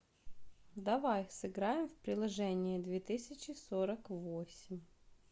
давай сыграем в приложение две тысячи сорок восемь